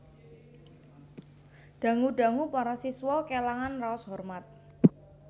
Dangu dangu para siswa kélangan raos hormat